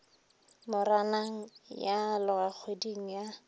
moranang ya aloga kgweding ya